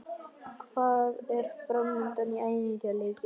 Hvað er framundan í æfingaleikjum?